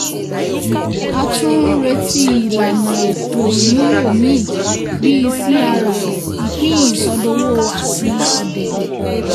a tún ń retí ìlànà ètò-ìmúlò míì bí crr ìpín ìsọdowó àti ọ̀dẹ̀dẹ̀.